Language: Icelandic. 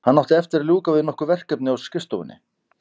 Hann átti eftir að ljúka við nokkur verkefni á skrifstofunni.